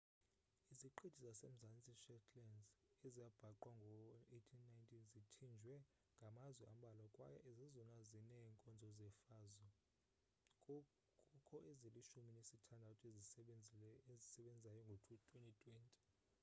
iziqithi zase-mzantsi shetland ezabhaqwa ngo-1819 zithinjiwe ngamazwe ambalwa kwaye zezona zinee nkonzo zefazo kukho ezilishumi nesithandathu ezisebenzayo ngo-2020